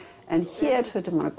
en hér þurfti maður að